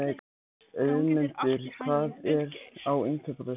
Auðmundur, hvað er á innkaupalistanum mínum?